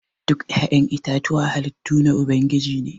Duk ya'yan itatuwa halittu na ubangiji ne.